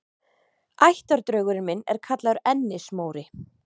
Ættardraugurinn minn er kallaður Ennis-Móri.